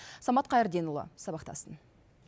самат қайырденұлы сабақтасын